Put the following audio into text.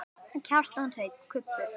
Kjartan Hreinn: Kubbur?